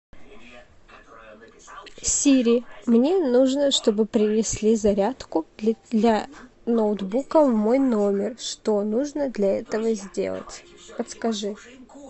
сири мне нужно чтобы принесли зарядку для ноутбука в мой номер что нужно для этого сделать подскажи